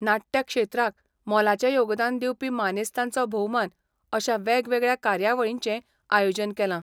नाटयक्षेत्राक मोलाचे योगदान दिवपी मानेस्तांचो भोवमान अशा वेगवगळया कार्यावळीचें आयोजन केला.